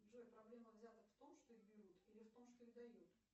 джой проблема взяток в том что их берут или в том что их дают